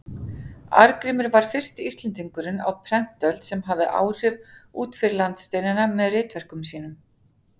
Arngrímur var fyrsti Íslendingurinn á prentöld sem hafði áhrif út fyrir landsteinanna með ritverkum sínum.